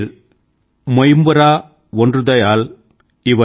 ముప్పదు కోడి ముగముదయాళ్ ఎనిల్ మైపురం ఒండ్రుదయాల్